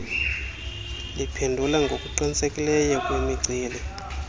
liphendula ngokuqinisekileyo kwimiceli